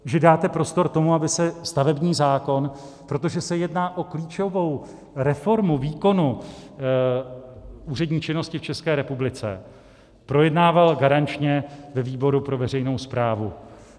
Že dáte prostor tomu, aby se stavební zákon, protože se jedná o klíčovou reformu výkonu úřední činnosti v České republice, projednával garančně ve výboru pro veřejnou správu.